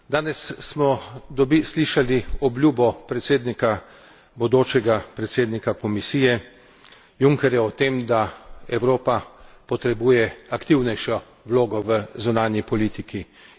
Danes smo slišali obljubo predsednika, bodočega predsednika Komisije, Junckerja, o tem, da Evropa potrebuje aktivnejšo vlogo v zunanji politiki.